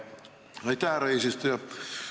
Aitäh, härra eesistuja!